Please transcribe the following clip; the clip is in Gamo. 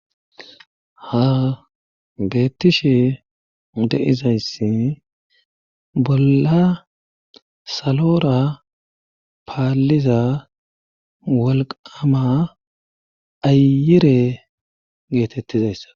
ha beettishe de'izayssi bolla salora paalliza wolqama ayire geetettizayssa